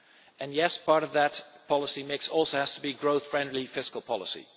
And yes, part of that policy mix also has to be growth friendly fiscal policy.